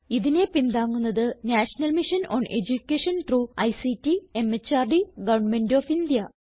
ഇതിനെ പിന്താങ്ങുന്നത് national mission on education through ICT MHRD government of India